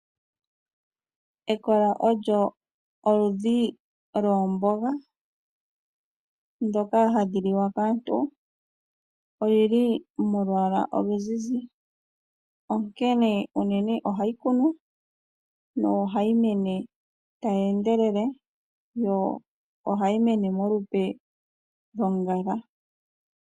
Ekola olyo oludhi loomboga dhoka hadhi liwa kaantu. Odhili molwaala oluzizi, onkene uunene ohayi kunwa, nohayi meni tayi endelele yo ohayi mene molupe loshigwanga.